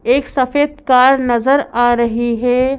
एक सफेद कार नजर आ रही है।